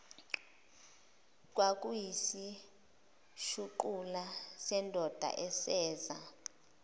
kwakuyisishuqula sendoda eseza